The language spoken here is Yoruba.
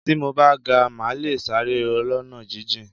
Tí mo bá ga, màá le sáré ọlọ́nà jíjìn.